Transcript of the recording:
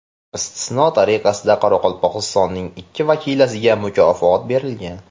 Istisno tariqasida Qoraqalpog‘istonning ikki vakilasiga mukofot berilgan.